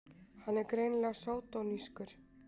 Hann er greinilega sódónískur!